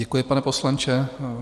Děkuji, pane poslanče.